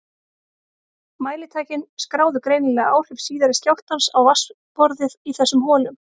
Mælitækin skráðu greinilega áhrif síðari skjálftans á vatnsborðið í þessum holum.